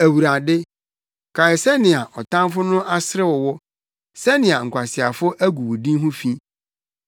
Awurade, kae sɛnea ɔtamfo no aserew wo, sɛnea nkwaseafo agu wo din ho fi.